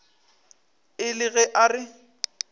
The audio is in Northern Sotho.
e le ge a re